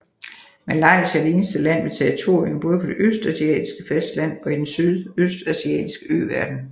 Malaysia er det eneste land med territorium både på det asiatiske fastland og i den sydøstasiatiske øverden